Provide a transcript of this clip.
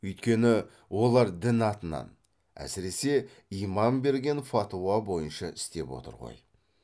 үйткені олар дін атынан әсіресе имам берген фатуа бойынша істеп отыр ғой